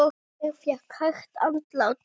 Hún fékk hægt andlát.